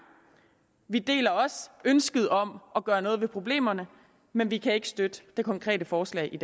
vi deler også ønsket om at gøre noget ved problemerne men vi kan ikke støtte det konkrete forslag i